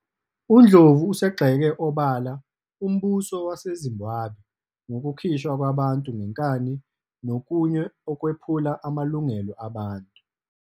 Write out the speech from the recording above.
UNdlovu usegxeke obala umbuso waseZimbabwe ngokukhishwa kwabantu ngenkani nokunye okwephula amalungelo abantu.